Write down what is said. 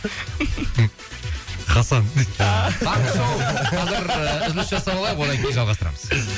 хасан ааа таңғы щоу қазір үзіліс жасап алайық одан кейін жалғастырамыз